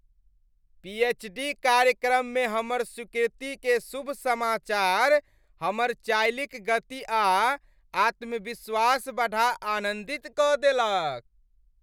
पी. H. D. कार्यक्रम मे हमर स्वीकृति के शुभ समाचार हमर चालि क गति आ आत्म्विश्वास बढ़ा आनन्दित क देलक ।